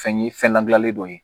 Fɛn ye fɛn ladilanlen dɔ ye